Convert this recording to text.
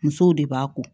Musow de b'a ko